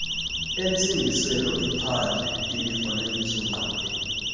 entsingiselo iphandle imifanekisoongqondweni